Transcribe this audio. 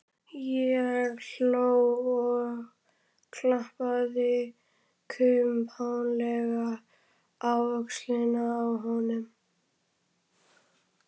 Ég hló og klappaði kumpánlega á öxlina á honum.